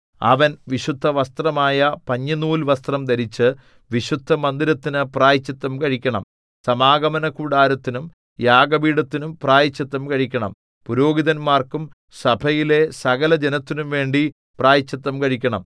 അവൻ വിശുദ്ധവസ്ത്രമായ പഞ്ഞിനൂൽവസ്ത്രം ധരിച്ച് വിശുദ്ധമന്ദിരത്തിനു പ്രായശ്ചിത്തം കഴിക്കണം സമാഗമനകൂടാരത്തിനും യാഗപീഠത്തിനും പ്രായശ്ചിത്തം കഴിക്കണം പുരോഹിതന്മാർക്കും സഭയിലെ സകലജനത്തിനുംവേണ്ടി പ്രായശ്ചിത്തം കഴിക്കണം